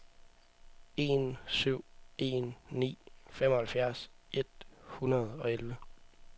en syv en ni femoghalvfjerds et hundrede og elleve